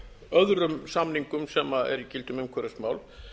öðrum samningum sem eru í gildi um umhverfismál